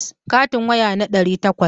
Katin waya na ɗari takwas.